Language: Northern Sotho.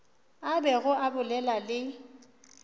a bego a bolela le